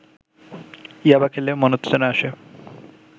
ইয়াবা খেলে মনোত্তেজনা আসে